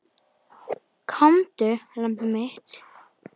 Komdu, lambið mitt.